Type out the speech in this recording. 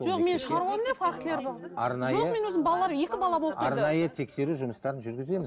арнайы тексеру жұмыстарын жүргіземіз